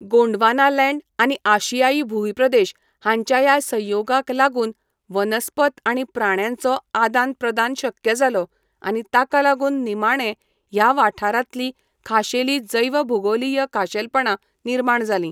गोंडवानालँड आनी आशियाई भूंयप्रदेश हांच्या ह्या संयोगाक लागून वनस्पत आनी प्राण्यांचो आदान प्रदान शक्य जालो आनी ताका लागून निमाणें ह्या वाठारांतलीं खाशेलीं जैवभूगोलीय खाशेलपणां निर्माण जालीं.